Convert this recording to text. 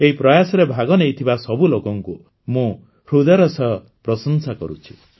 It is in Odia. ଏହି ପ୍ରୟାସରେ ଭାଗନେଇଥିବା ସବୁ ଲୋକଙ୍କୁ ମୁଁ ହୃଦୟର ସହ ପ୍ରଶଂସା କରୁଛି